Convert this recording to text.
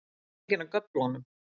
Þú ert genginn af göflunum